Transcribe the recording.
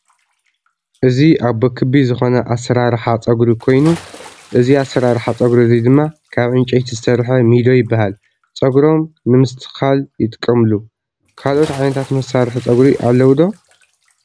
እዚ ኣቦ ክቢ ዝኮነ ኣሰራርሓ ፀጉሪ ኮይኑእዚ ኣሰራርሓ ፀጉሪ እዚ ድማ ካብ ዕንፀይቲ ዝተሰረሐ ሚዶ ይበሃል ፀጉሮም ንምስትክካል ይጥቀምሎ ። ካለኦት ዓይነታት መሳርሒ ፀጉሪ ኣለው ዶ ?